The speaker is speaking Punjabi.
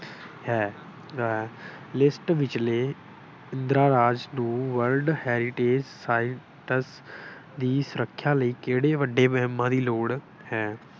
ਹੈ। ਲਿਖਤ ਵਿਚਲੇ ਪੰਦਰਾਂ ਰਾਜ ਨੂੰ world heritage file ਤੱਕ ਦੀ ਸੁਰੱਖਿਆ ਲਈ ਕਿਹੜੇ ਵੱਡੇ ਮੁਹਿੰਮਾ ਦੀ ਲੋੜ ਹੈ।